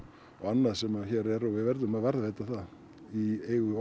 og annað sem hér er og við verðum að varðveita það í eigu